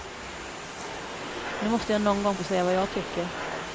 Nu måste jag någon gång få säga vad jag tycker.